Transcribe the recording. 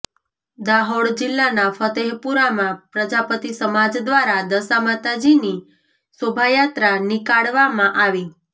દાહોદ જિલ્લાના ફતેપુરામાં પ્રજાપતિ સમાજ દ્વારા દશામાતાજીની શોભાયાત્રા નિકાળવામાં આવી